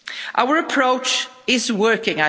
Our approach is working.